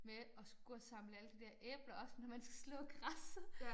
Med at skulle gå og samle alle de dér æbler op når man skal slå græsset